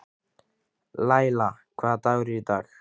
Laíla, hvaða dagur er í dag?